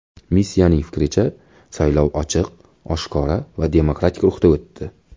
Missiyaning fikricha, saylov ochiq, oshkora va demokratik ruhda o‘tdi.